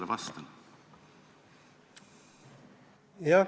Mis ma talle vastan?